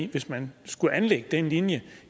hvis man skulle anlægge den linje